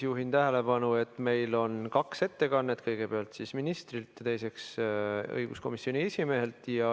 Juhin tähelepanu, et meil on kaks ettekannet: kõigepealt ministrilt ja teiseks õiguskomisjoni esimehelt.